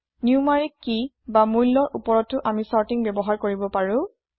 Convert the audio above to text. numeric কি বা মূল্যৰ ওপৰতো আমি চৰ্টিং ব্যৱহাৰ কৰিব পাৰো